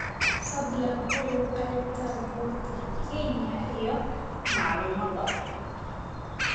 fadlan hubi qaybta buurta kenya iyo macluumaadka